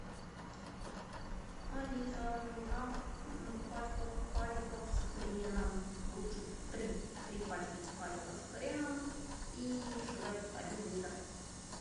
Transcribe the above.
алиса нужна пачка сухариков с хреном лучше три три пачки сухариков с хреном и швепс один литр